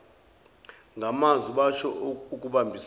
ngamazwi basho ukubambana